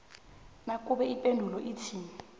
nakube ipendulo ithi